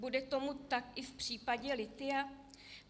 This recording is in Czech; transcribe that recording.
Bude tomu tak i v případě lithia?